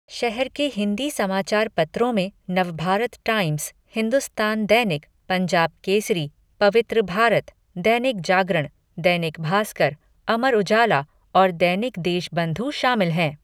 शहर के हिंदी समाचार पत्रों में नवभारत टाइम्स, हिंदुस्तान दैनिक, पंजाब केसरी, पवित्र भारत, दैनिक जागरण, दैनिक भास्कर, अमर उजाला और दैनिक देशबंधु शामिल हैं।